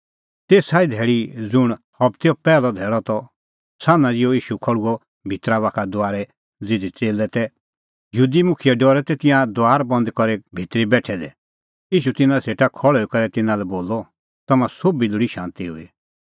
तेसा ई धैल़ी ज़ुंण हबतेओ पैहलअ धैल़अ त सान्हां ज़िहअ ईशू खल़्हुअ भितरा बाखा दुआरै ज़िधी च़ेल्लै तै यहूदी मुखिये डरै तै तिंयां दुआर बंद करी करै भितरी बेठै दै ईशू तिन्नां सेटा खल़्हुई करै तिन्नां लै बोलअ तम्हां सोभी लोल़ी शांती हुई